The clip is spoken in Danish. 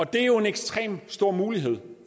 det er jo en ekstremt stor mulighed